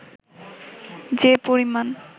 যে পরিমাণ